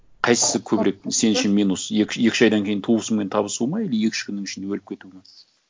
қайсысы көбірек сен үшін минус екі үш айдан кейін туысыңмен табысу ма или екі үш күннің ішінде өліп кету ма